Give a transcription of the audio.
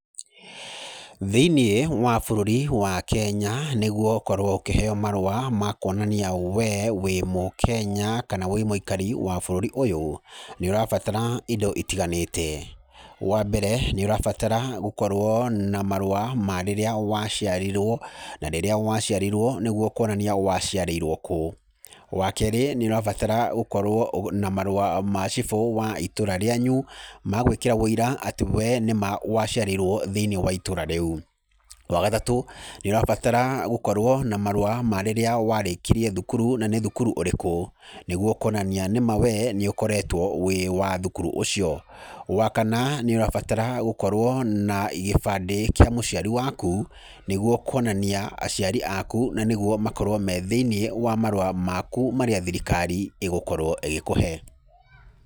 Thĩinĩ wa bũrũri wa Kenya, niguo ũkorwo ũkĩheyo marũa makwonania we wĩ mũkenya, kana wĩ mũikari wa bũrũri ũyũ, nĩ ũrabatara indo itiganĩte, wambere, nĩ ũrabatara gũkorwo na marũa ma rĩrĩa waciarirwo, na rĩrĩa waciarirwo nĩguo kwonania waciarĩirwo kũu, wa kerĩ, nĩ ũrabatara gũkorwo na marũa ma cibũ wa itũra rĩanyu ma gwĩkĩra wĩira atĩ we nĩma waciarĩirwo thĩinĩ wa itũra rĩu, wa gatatũ, nĩ ũrabatara gũkorwo na marũa ma rĩrĩa warĩkirie thukuru na nĩ thukuru ũrĩkũ, nĩguo kwonania nĩma we nĩ ũkoretwo wĩwa thukuru ũcio, wa kana, nĩ ũrabatara gũkorwo na gĩbandĩ kĩa mũciari waku, nĩguo kuonania aciari aku na nĩguo makorwo me thĩinĩ wa marũa maku marĩa thirikari ĩgũkorwo ĩgĩkũhe.